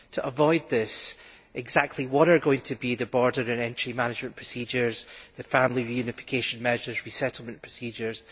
To avoid this, exactly what are going to be the border or entry management procedures, the family reunification measures, the resettlement procedures?